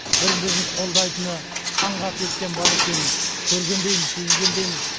бірі бірін қолдайтыны қан қасиеттен бар екенін көргендейміз сезгендейміз